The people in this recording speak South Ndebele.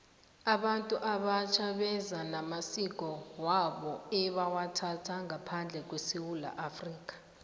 abantu abatjha beza namasiko wabo ebawathatha ngaphandle kwesewula afrika